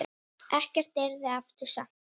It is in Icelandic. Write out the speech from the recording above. Ekkert yrði aftur samt.